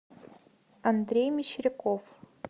андрей мещеряков